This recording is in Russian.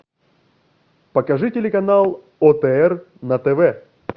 покажи телеканал отр на тв